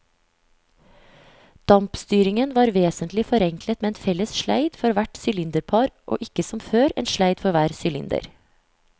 Dampstyringen var vesentlig forenklet med en felles sleid for hvert sylinderpar og ikke som før, en sleid for hver sylinder.